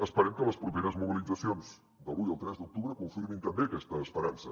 esperem que les properes mobilitzacions de l’un i el tres d’octubre confirmin també aquesta esperança